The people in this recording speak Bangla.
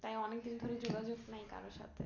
তাই অনেক দিন ধরে যোগাযোগ নাই কারো সাথে